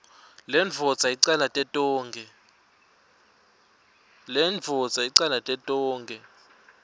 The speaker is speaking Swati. lendvodza icalate tonkhe